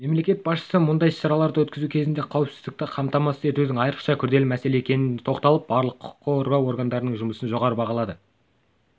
мемлекет басшысы мұндай іс-шараларды өткізу кезінде қауіпсіздікті қамтамасыз етудің айрықша күрделі мәселе екеніне тоқталып барлық құқық қорғау органдарының жұмысын жоғары бағалады